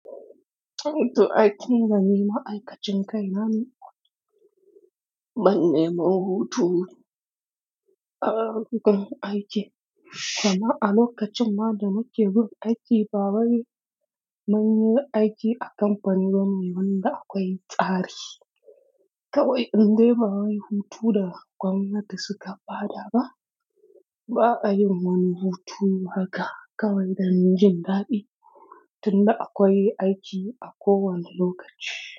To ai tinda ni ma'aikacin kai na ne, ban neman hutu a lokacin aiki. Dama a lokacin ma da muke bin aiki ba wai mun yi aiki a kamfani bane mai wanda akwai tsari. Kawai in dai ba wai hutu da gwamnati suka ba da ba, ba a yin wani hutu haka kawai dan jin daɗi tun da akwai aiki a kowane lokaci.